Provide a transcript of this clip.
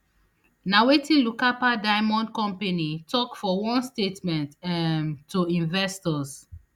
na wetin lucapa diamond company tok for one statement um to investors